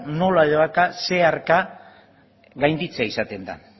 nola edo hala zeharka gainditzea izaten da